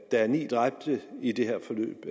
er ni dræbte i det her forløb